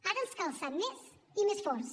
ara ens cal ser més i més forts